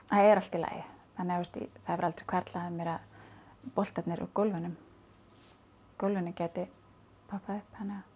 það er allt í lagi þannig það hefði aldrei hvarflað að mér að boltarnir úr gólfinu gólfinu gætu poppað upp